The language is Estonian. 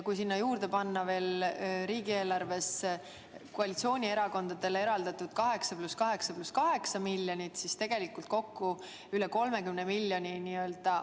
Kui sinna juurde panna veel riigieelarves koalitsioonierakondadele eraldatud 8 + 8 + 8 miljonit, siis tegelikult on katuseraha kokku üle 30 miljoni.